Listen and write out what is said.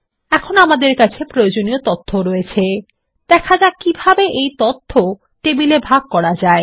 এখন আমরা আমাদের কাছে প্রয়োজনীয় তথ্য রয়েছে দেখা যাক কিভাবে এই তথ্য টেবিলে ভাগ করা যায়